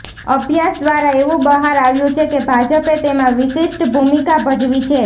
અભ્યાસ દ્વારા એવું બહાર આવ્યું છે કે ભાજપે તેમાં વિશિષ્ટ ભૂમિકા ભજવી છે